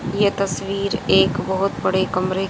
ये तस्वीर एक बहुत बड़े कमरे --